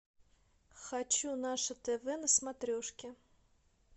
хочу наше тв на смотрешке